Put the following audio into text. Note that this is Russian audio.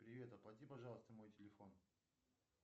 привет оплати пожалуйста мой телефон